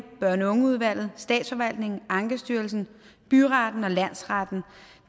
børn og ungeudvalget statsforvaltningen ankestyrelsen byretten og landsretten